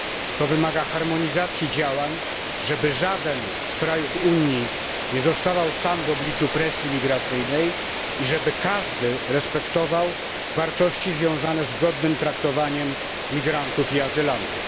To wymaga harmonizacji działań, żeby żaden z krajów Unii nie zostawał sam w obliczu presji migracyjnej i żeby każdy respektował wartości związane z godnym traktowaniem migrantów i azylantów.